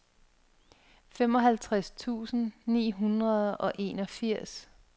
femoghalvtreds tusind ni hundrede og enogfirs